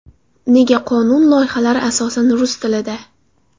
Nega qonun loyihalari asosan rus tilida?